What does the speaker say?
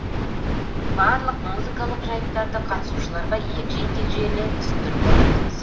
барлық музыкалық жайттарды қатысушыларға егжей тегжейлі түсіндіріп отырдыңыз